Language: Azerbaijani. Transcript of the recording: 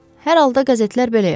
Hər halda qəzetlər belə yazır.